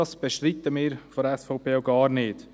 Dies bestreiten wir als SVP gar nicht.